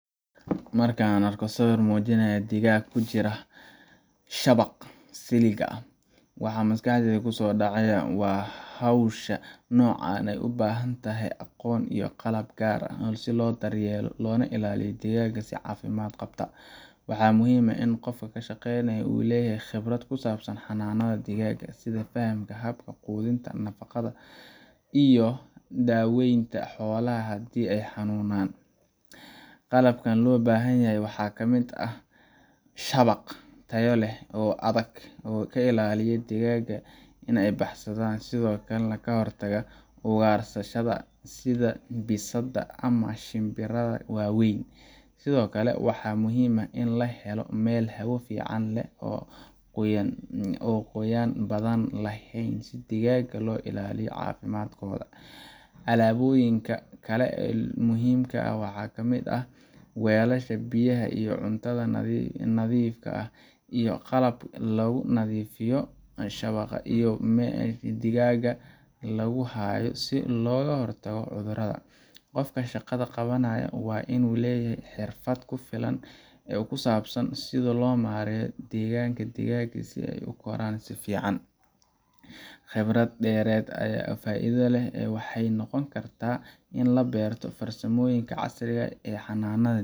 Markaan arko sawirka muujinaya digaag ku jira shabaq-ka siligga ah, waxa maskaxdayda kusoo dhacaya in hawsha noocan ah ay u baahan tahay aqoon iyo qalab gaar ah si loo daryeelo loona ilaaliyo digaaga si caafimaad qabta. Waxa muhiim ah in qofka ka shaqeynaya uu leeyahay khibrad ku saabsan xanaanada digaaga, sida fahamka habka quudinta, nadaafadda, iyo daaweynta xoolaha haddii ay xanuunaan. Qalabka loo baahan yahay waxaa ka mid ah shabaq tayo leh oo adag oo ka ilaaliya digaaga in ay baxsadaan iyo sidoo kale ka hortaga ugaarsadayaasha sida bisadaha ama shinbiraha waaweyn. Sidoo kale, waxaa muhiim ah in la helo meel hawo fiican leh oo aan qoyaan badan lahayn si digaaga loo ilaaliyo caafimaadkooda. Alaabooyinka kale ee muhiimka ah waxaa ka mid ah weelasha biyaha iyo cuntada oo nadiif ah, iyo qalab lagu nadiifiyo shabaqa iyo meesha digaaga lagu hayo si looga hortago cudurrada. Qofka shaqada qabanaya waa inuu leeyahay xirfad ku filan oo ku saabsan sida loo maareeyo deegaanka digaaga si ay u koraan si fiican. Khibrad dheeraad ah oo faa’iido leh waxay noqon kartaa in la barto farsamooyinka casriga ah ee xanaanada